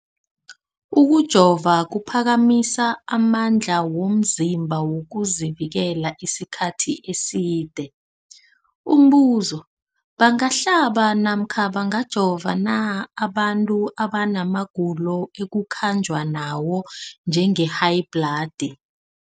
Ukujova kuphakamisa amandla womzimbakho wokuzivikela isikhathi eside. Umbuzo, bangahlaba namkha bangajova na abantu abana magulo ekukhanjwa nawo, njengehayibhladi?